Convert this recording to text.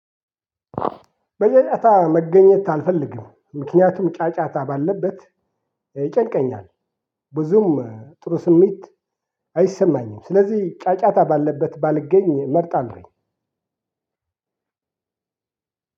በጫጫታ መገኘት አልፈልግም። ምክንያቱም ጫጫታ ባለበት ይጨንቀኛል። ብዙም ጥሩ ስሜት አይሰማኝም ስለዚህ ጫጫታ ባለበት ባልገኝ መርጣለሁኝ።